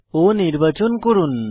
O নির্বাচন করুন